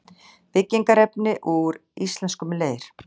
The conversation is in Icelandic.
Byggingarefni úr íslenskum leir.